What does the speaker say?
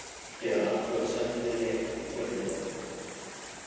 Gera athugasemd við leka til fjölmiðla